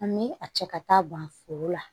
An bɛ a cɛ ka taa ban foro la